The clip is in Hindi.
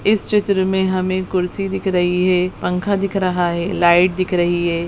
इस चित्र में हमें कुर्सी दिख रही है पंखा दिख रहा है लाइट दिख रही है।